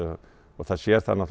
það sjá það